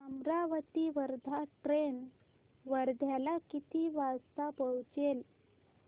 Amravati Wardha train वर्ध्याला किती वाजता पोहचेल